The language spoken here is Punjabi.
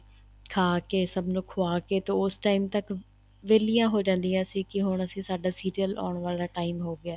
ਖਾਕੇ ਸਭ ਨੂੰ ਖੁਆਕੇ ਤੇ ਉਸ time ਤੱਕ ਵਹਿਲੀਆਂ ਹੋ ਜਾਂਦੀਆਂ ਸੀ ਕੀ ਹੁਣ ਅਸੀਂ ਸਾਡਾ serial ਆਉਣ ਵਾਲਾ ਹੈ time ਹੋ ਗਿਆ